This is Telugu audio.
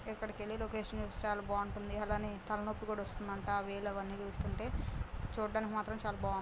ఎక్కడికెల్లి లొకేషన్ అది చాల బావుంటుంది అలానే తలనొప్పి కూడ వస్తుందంట ఆ వే లు అవని చూస్తుంటే చుడానికి మాత్రం చాల బావు --